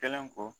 Kɛlen kɔ